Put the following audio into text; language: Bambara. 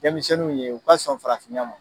Denmisɛnninw ye u ka sɔn farafinya ma.